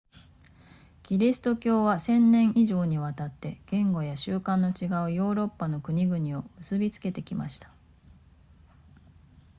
キリスト教は千年以上にわたって言語や習慣の違うヨーロッパの国々を結びつけてきました